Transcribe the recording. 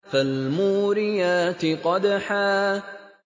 فَالْمُورِيَاتِ قَدْحًا